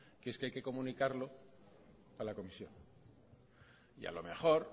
que es que hay que comunicarlo a la comisión y a lo mejor